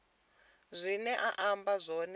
zwine a amba zwone zwa